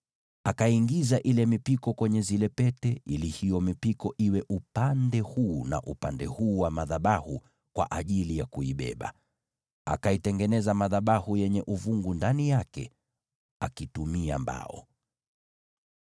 Akaiingiza ile mipiko kwenye zile pete, ili iwe pande mbili za madhabahu kwa ajili ya kuibeba. Akaitengeneza madhabahu yenye uvungu ndani yake akitumia mbao.